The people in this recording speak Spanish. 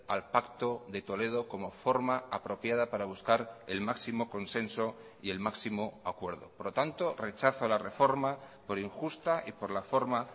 al pacto de toledo como forma apropiada para buscar el máximo consenso y el máximo acuerdo por lo tanto rechazo a la reforma por injusta y por la forma